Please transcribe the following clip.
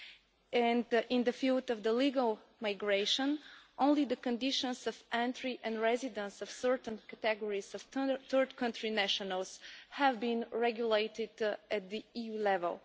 In the field of legal migration, only the conditions of entry and residence of certain categories of third country nationals have been regulated at EU level.